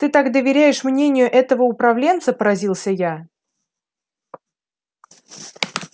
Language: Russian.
ты так доверяешь мнению этого управленца поразился я